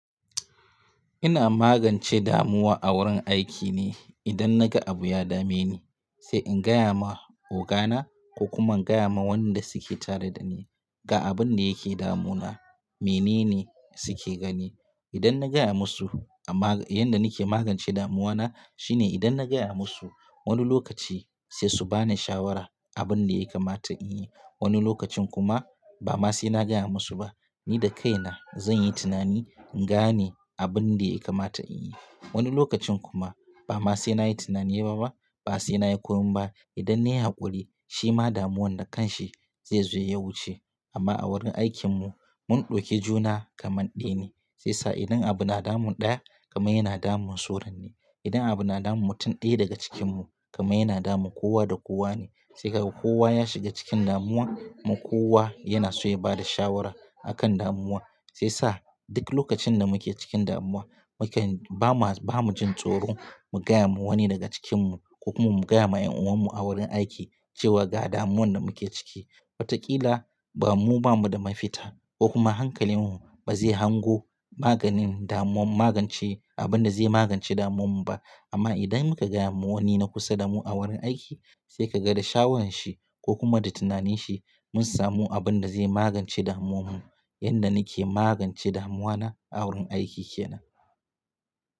Ina magance damuwa a wurin aiki ne idan naga abu ya dame ni, sai in gaya ma ogana ko kuma in gaya ma wanda suke tare da ni ga abun da yake damunana, menene suke gani. Idan na gaya musu, amma yanda nake magance damuwana shine idan na gaya musu, wani lokaci sai su bani shawara abin da ya kamata in yi. Wani lokacin kuma ba ma sai na gaya musu ba, ni da kaina zan yi tunani, in gane abin da ya kamata in yi. Wani lokacin kuma ba ma sai na yi tunani ba ma, ba sai na yi komai ba. Idan nayi haƙuri, shima damuwan da kan shi zai zo ya wuce. Amma a wurin aikinmu mun ɗauki juna kamar ɗaya ne, shi yasa idan abu na damun ɗaya kamar yana damun suran ne. Idan abu na damun mutum ɗaya daga cikinmu kamar yana damun kowa da kowa ne. Sai ka ga kowa ya shiga cikin damuwa, mu kowa yana so ya bada shawara a kan damuwa. Sai sa duk lokacin da muke cikin damuwa muke, ba ma, ba mu jin tsoro mu gaya ma wani daga cikinmu ko kuma mu gaya ma ƴan'uwanmu a wurin aiki cewa ga damuwan da muke ciki. Watakila bamu, ba mu da mafita ko kuma hankalinmu ba zai hango maganin damuwan, magance abin da zai magance damuwanmu ba. Amma idan muka gaya ma wani na kusa da mu a wurin aiki sai ka ga da shawarar shi ko kuma da tunaninsahi mun samu abin da zai magance damuwanmu. Yanda nake magance damuwa na a wurin aiki ke nan.